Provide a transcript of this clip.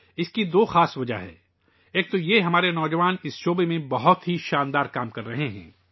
اس کی دو خاص وجوہات ہیں ایک یہ کہ ہمارے نوجوان اس میدان میں شاندار کام کر رہے ہیں